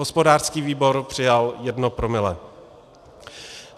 Hospodářský výbor přijal jedno promile.